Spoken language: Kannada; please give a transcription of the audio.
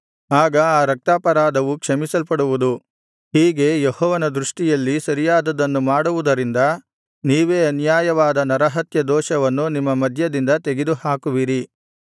ಆಗ ಆ ರಕ್ತಾಪರಾಧವು ಕ್ಷಮಿಸಲ್ಪಡುವುದು ಹೀಗೆ ಯೆಹೋವನ ದೃಷ್ಟಿಯಲ್ಲಿ ಸರಿಯಾದುದನ್ನು ಮಾಡುವುದರಿಂದ ನೀವೇ ಅನ್ಯಾಯವಾದ ನರಹತ್ಯದೋಷವನ್ನು ನಿಮ್ಮ ಮಧ್ಯದಿಂದ ತೆಗೆದುಹಾಕುವಿರಿ